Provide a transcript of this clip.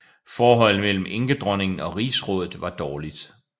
Forholdet mellem enkedronningen og rigsrådet var dårligt